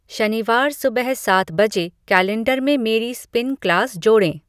शनिवार सुबह सात बजे कैलेंडर में मेरी स्पिन क्लास जोड़ें